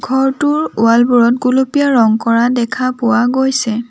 ঘৰটোৰ ৱাল বোৰত গুলপীয়া ৰং কৰা দেখা পোৱা গৈছে।